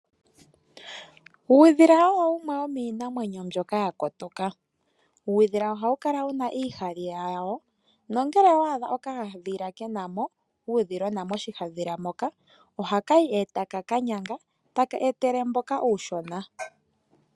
Uudhila owo wumwe wo miinamwenyo mbyoka wa kotoka udhila ohawu kala wuna iiyadhila yawo moka okadhila kena mo uudhilona moshihadhila moka ohaka yi etaka nyanga taka etele mboka uushona.